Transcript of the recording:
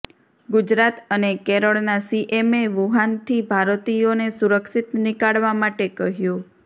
ગુજરાત અને કેરળના સીએમે વુહાનથી ભારતીયોને સુરક્ષિત નીકાળવા માટે કહ્યું